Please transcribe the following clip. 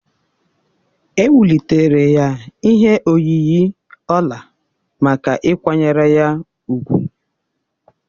Ewulitere ya ihe oyiyi ọla maka ịkwanyere ya úgwù.